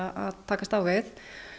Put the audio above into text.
að takast á við